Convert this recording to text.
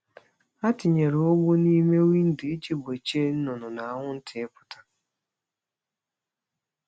Ha tinyere ụgbụ n’ime windo iji gbochie nnụnụ na anwụnta ịpụta.